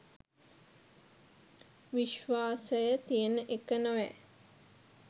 විශ්වාසය තියන එක නොවැ